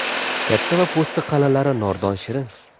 Katta va po‘sti qalinlari nordon-shirin.